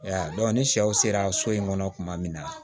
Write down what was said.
Ya ni sɛw sera so in kɔnɔ kuma min na